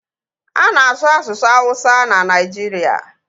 A na-asu asụsụ awụsa na Naijiria